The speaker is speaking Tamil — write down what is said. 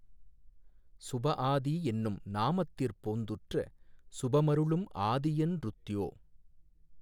சுபஆதி என்னும் நாமத்திற் போந்துற்ற சுபமருளும் ஆதியென்றுத்யோ